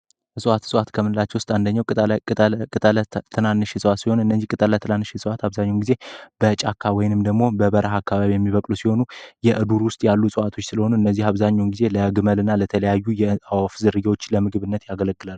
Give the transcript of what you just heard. እጽዋት ሥጽዋት ከምንላቸው ውስጥ አንደኘው ቅጣለ ትናንሽ የጽዋት ሲሆን እነዚህ ቅጣላ ትናንሽ እጽዋት አብዛኛውን ጊዜ በጫካ ወይንም ደግሞ በበረሃ አካባቢ የሚበቅሉ ሲሆኑ የእዱር ውስጥ ያሉ እጸዋቶች ሲለሆኑ እነዚህ አብዛኙን ጊዜ ለግመል እና ለተለያዩ የአወፍ ዝርያዎች ለምግብነት ያገለግላል።